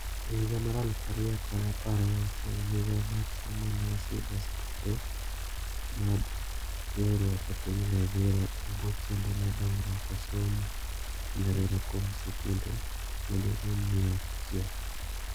Ehiga mar alufu ariyo kod apar gauchiel Migao mar somo ne osidho skunde mag riwruok epiny Liberia ebwo chenro mar dongruok e somo epiny Liberia kuom sikunde madirom mia achiel.